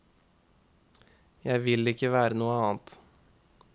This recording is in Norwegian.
Jeg vil ikke være noe annet.